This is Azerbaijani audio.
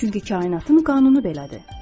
Çünki kainatın qanunu belədir.